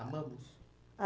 Amamos?